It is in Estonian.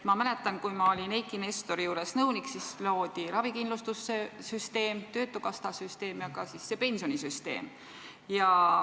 Ma mäletan, et kui olin Eiki Nestori juures nõunik, siis loodi ravikindlustussüsteem, töötukassasüsteem ja ka see pensionisüsteem.